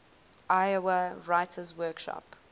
iowa writers workshop